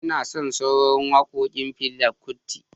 Ina son sauraron wakokin Fela Kuti.